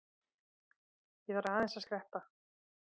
Ég þarf aðeins að skreppa.